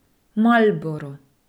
Marlboro.